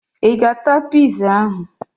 Ị ga-ata piza ahụ!